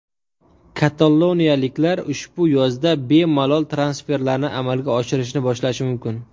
Kataloniyaliklar ushbu yozda bemalol transferlarni amalga oshirishni boshlashi mumkin.